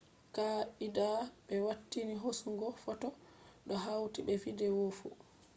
kaa’idaa be watini hosugo photo do hauti be video fu